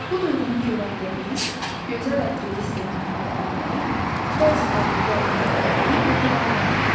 Bu duyğunun köməyi ilə biz gözəl ətri hiss etməklə bərabər, bəzi təhlükə əlaməti olan qoxuları da alırıq.